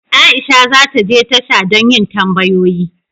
Aisha za ta je tasha don yin tambayoyi.